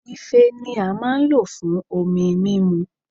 Ife ni a maa n lo fun omi mimu